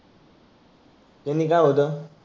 त्यानी काय होतं?